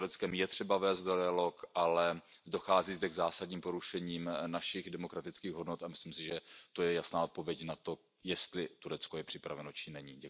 S Tureckem je třeba vést dialog, ale dochází zde k zásadním porušením našich demokratických hodnot a myslím si, že to je jasná odpověď na to, jestli Turecko je připraveno či není.